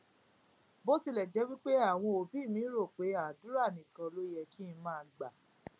bó tilè jé pé àwọn òbí mi rò pé àdúrà nìkan ló yẹ kí n máa gbà